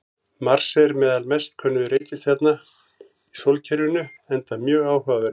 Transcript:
Mars er meðal mest könnuðu reikistjarna í sólkerfinu enda mjög áhugaverður.